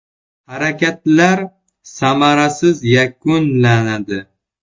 Harakatlar samarasiz yakunlanadi.